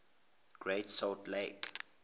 great salt lake